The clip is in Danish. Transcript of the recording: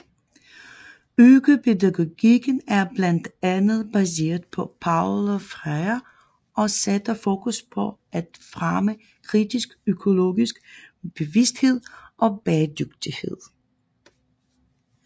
Økopædagogikken er blandt andet baseret på Paulo Freire og sætter fokus på at fremme kritisk økologisk bevidsthed og bæredygtighed